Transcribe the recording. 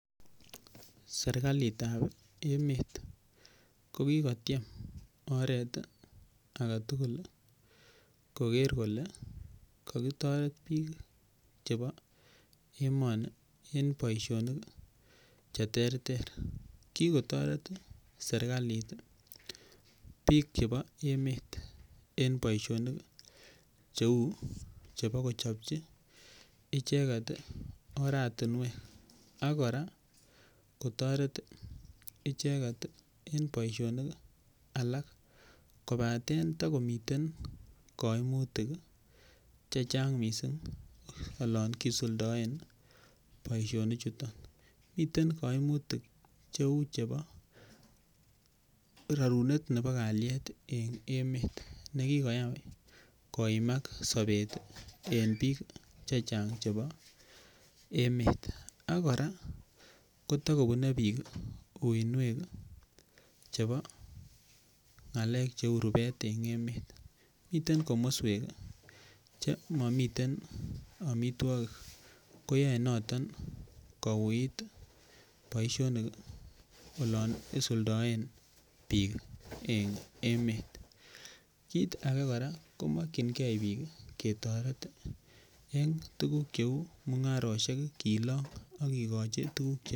Serkalitap emet ko kikotiem oret age tugul koker kole kakitaret piik chepa emani eng' poisonik che ter ter. Kikotaret serkalit piik chepo emet eng' poishonik cheu chepa kochopchi icheget oratinwek ak kora kotaret icheget poishonik alak. Kopaten tako miten kaimutik che chang' missing' olan kisuldaen poishonichu. Miten kaimutik cheu chepa rerunet nepa kalyet eng' emet ne kikoyai koimak sapet eng' piik che chang' chepa emet. Ak kora kontakopune piik uinwek chepo ng'alek cheu rupet eng' emet. Miten komaswek che mamiten amitwogik koyae noton kouit poishonik olan isuldaen piik eng' emet. Kiit age kora ko makchingei piik ke taret eng' tuguk cheu mung'aroshek kilang' ak kikachi tuguk...